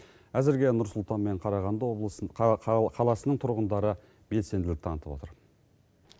әзірге нұр сұлтан мен қарағанды облысын қаласының тұрғындары белсенділік танытып отыр